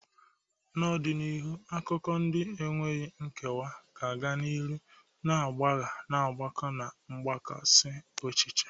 N'ọdịnihu, akụkọ ndị na-enweghị nkewa ga-aga n'ihu na-agbagha mgbakọ na mgbakasị echiche.